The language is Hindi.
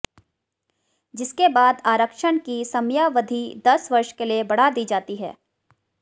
जिसके बाद आरक्षण की समयावधि दस वर्ष के लिए बढ़ा दी जाती है